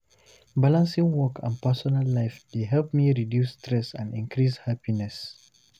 Balancing work and personal life dey help me reduce stress and increase happiness.